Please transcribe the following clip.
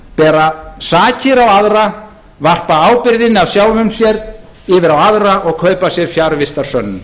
bera sakir á aðra varpa ábyrgðinni af sjálfum sér yfir á aðra og kaupa sér fjarvistarsönnun